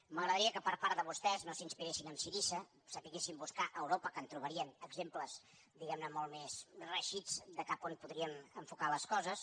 m’agradaria que per part de vostès no s’inspiressin en syriza sabessin buscar a europa que en trobarien d’exemples digués·sim molt més reeixits de cap a on podríem enfocar les coses